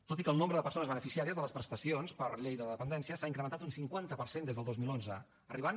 tot i que el nombre de persones beneficiàries de les prestacions per la llei de la dependència s’ha incrementat un cinquanta per cent des del dos mil onze arribant